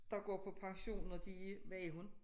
Der går på pension når de er hvad er hun